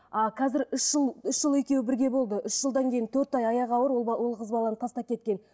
а қазір үш жыл үш жыл екеуі бірге болды үш жылдан кейін төрт ай аяғы ауыр ол ол қыз баланы тастап кеткен